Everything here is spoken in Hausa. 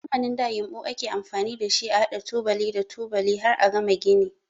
A zamanin da yinɓu ake amfani da shi a haɗa tubali da tubali har a gama gini.